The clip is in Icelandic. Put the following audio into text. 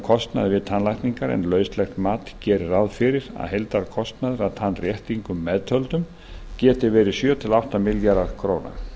við tannlækningar en lauslegt mat gerir ráð fyrir að heildarkostnaður að tannréttingum meðtöldum geti verið allt að sjö til átta milljarðar króna